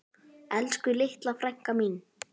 Elsku litla frænka mín.